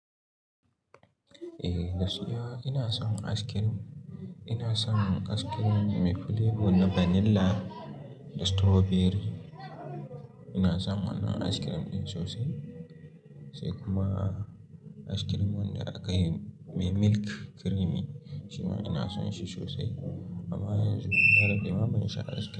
Eh gaskiya ina son ice cream. Ina son ice cream mai flavour na vanilla da strawberry. Ina son wannan ice cream ɗin sosai, sai kuma ice cream wanda aka yi mai milk creamy. Shi ma ina son shi sosai, amma yanzu bana fi mamaki shan ice cream.